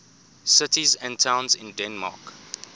cities and towns in denmark